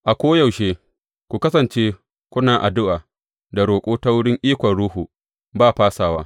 A koyaushe ku kasance kuna addu’a da roƙo ta wurin ikon Ruhu ba fasawa.